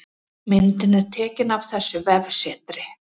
Myndin er tekin af þessu vefsetri